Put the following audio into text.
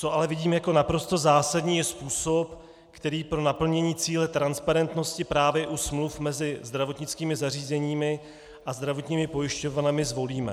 Co ale vidím jako naprosto zásadní, je způsob, který pro naplnění cíle transparentnosti právě u smluv mezi zdravotnickými zařízeními a zdravotními pojišťovnami zvolíme.